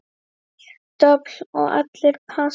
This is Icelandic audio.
Dobl og allir pass.